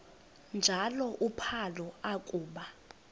njalo uphalo akuba